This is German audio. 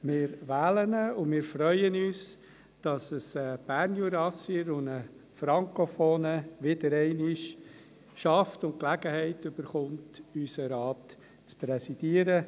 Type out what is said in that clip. Wir wählen ihn und freuen uns, dass es wieder einmal ein Bernjurassier, ein Frankophoner schafft und die Gelegenheit erhält, unseren Rat zu präsidieren.